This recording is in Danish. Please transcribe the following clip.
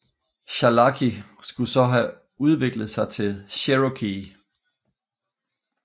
Chalaki skulle så have udviklet sig til Cherokee